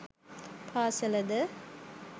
පාසල ද